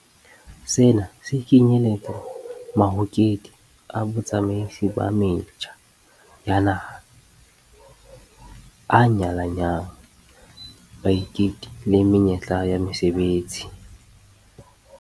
Sena se kenyeletsa mahokedi a botsamaisi ba metjha ya naha a nyalanyang baiketi le menyetla ya mesebetsi.